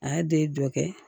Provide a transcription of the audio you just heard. A y'a den dɔ kɛ